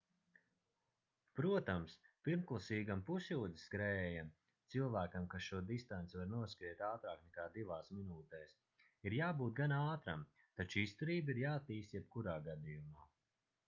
protams pirmklasīgam pusjūdzes skrējējam cilvēkam kas šo distanci var noskriet ātrāk nekā divās minūtēs - ir jābūt gana ātram taču izturība ir jāattīsta jebkurā gadījumā